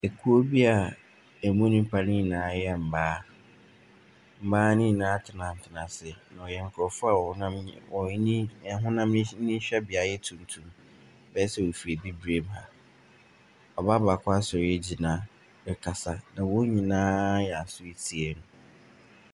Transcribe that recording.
Kurow bi a ɛmu nnipa ne nyinaa yɛ mmaa, mmaa ne nyinaa atenatena ase. Na wɔyɛ nkurɔfo a wɔn ho wɔn any ahonam nyi anyi hwɛbea yɛ tuntum. Bɛyɛ sɛ wɔfiri abibire mu ha. Ɔbaa baako asɔre agyina rekasa na wɔn nyinaa ayɛ aso retie no.